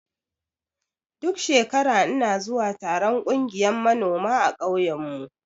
Duk shekara ina zuwa taron ƙungiyan manoma a ƙauyen mu.